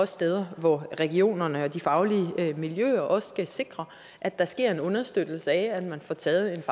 steder hvor regionerne og de faglige miljøer også skal sikre at der sker en understøttelse af at man får taget